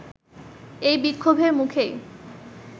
এই বিক্ষোভের মুখেই